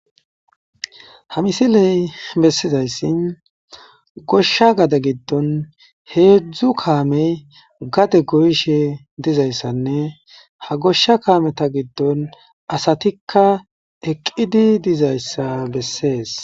ha misiley bessizayssin goshsha gade giddon heedzdzu kaamey gade goyishe dizayssanne ha goshsha kaameta giddon asatikka eqqidi dizayssa bessees